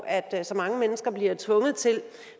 at så mange mennesker bliver tvunget til